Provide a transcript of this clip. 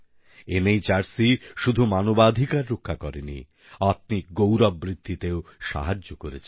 NHRC শুধু মানবাধিকার রক্ষা করেনি আত্মিক গৌরব বৃদ্ধিতেও সাহায্য করেছে